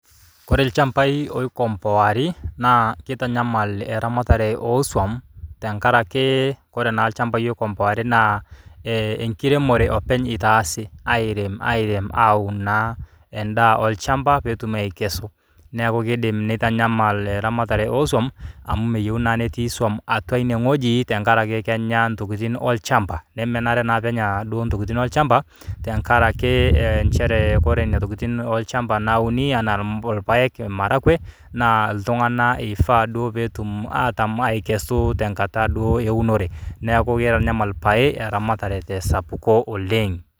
Koree lchambai loikompoai naa keitanyamal eramatare oo swam tenkaraki koree naa lchambai oikompoaki naa enkiremore openy eitaasi airem aaun naa endaa olchamba pee etum aikesu niaku nitanyamal etamatare oo swam amu meyieu naa netii swam atua ine wueji tenkaraki kenyaa ntokitin olchamba nemenare naa pee Enya duo ntokikitin olchamba tenkaraki nchere ore nena tokitin olchamba nauni enaa rpae oo maragwe ltunganak duo ifaa pee etum atam aikesu duo tenkata ee unore niaku keitanyamal pae eramatare te sapuko oleng